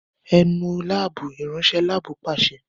É Nu laabu! iranṣẹ lab paṣẹ